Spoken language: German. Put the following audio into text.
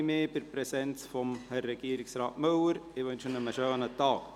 Ich bedanke mich bei Regierungsrat Müller für seine Präsenz und wünsche ihm einen schönen Tag.